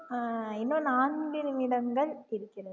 ஆஹ் இன்னும் நான்கு நிமிடங்கள் இருக்கிறது